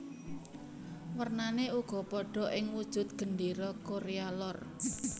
Wernané uga padha ing wujud Gendéra Korea Lor